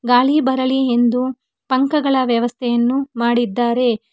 ಗಾಳಿ ಬರಲಿ ಎಂದು ಪಂಕಗಳ ವ್ಯವಸ್ಥೆಯನ್ನು ಮಾಡಿದ್ದಾರೆ.